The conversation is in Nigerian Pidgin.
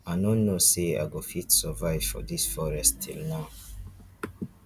i no know say i go fit survive for dis forest till now